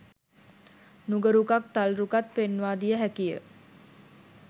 නුග රුකත් තල් රුකත් පෙන්වා දිය හැකි ය.